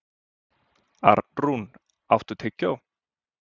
Arnrún, áttu tyggjó?